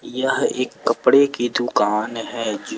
यह एक कपड़े की दुकान है।